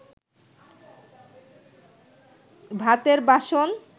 ভাতের বাসন